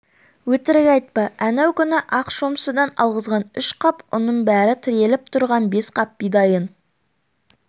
өтірік айтпа әнеу күні ақ шомшыдан алғызған үш қап ұның бар тіреліп тұрған бес қап бидайың